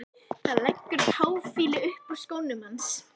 Það leggur táfýlu upp úr skónum hans.